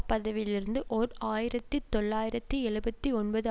பதவியிலிருந்து ஓர் ஆயிரத்தி தொள்ளாயிரத்தி எழுபத்து ஒன்பது